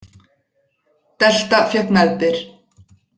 Delta fékk meðbyr